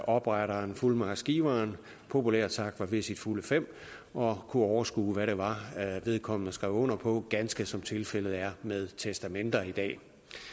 opretteren fuldmagtsgiveren populært sagt var ved sine fulde fem og kunne overskue hvad det var vedkommende skrev under på ganske som tilfældet er med testamenter i dag